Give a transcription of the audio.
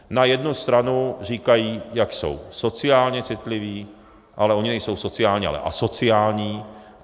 Na jednu stranu říkají, jak jsou sociálně citliví, ale oni nejsou sociální, ale asociální.